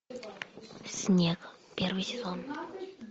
снег первый сезон